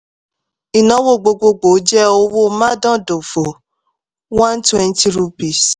ìnáwó gbogbogbò jẹ́ owó mádàndòfò one twenty rupees